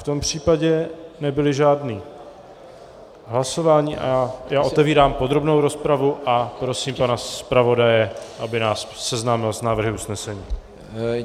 V tom případě nebyla žádná hlasování a já otevírám podrobnou rozpravu a prosím pana zpravodaje, aby nás seznámil s návrhy usnesení.